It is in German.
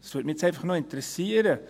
– Das würde mich interessieren.